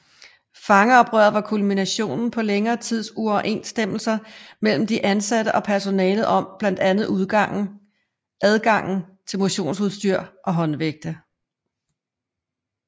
Fangeoprøret var kulminationen på længere tids uoverensstemmelser mellem de indsatte og personalet om blandt andet adgangen til motionsudstyr og håndvægte